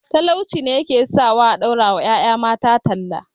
Talauci ne ya ke sawa a ɗaura wa ƴaƴa mata talla